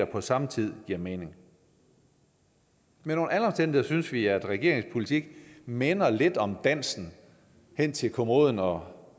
på samme tid giver mening men under alle omstændigheder synes vi at regeringens politik minder lidt om dansen hen til kommoden og